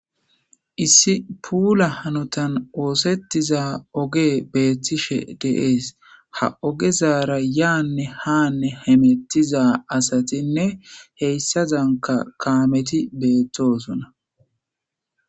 issi puula hanotan oosettiza oge beettishe deees ha ogezaara yaanne haanne hemettiza asatinne heyssa zanka kaameti beettosona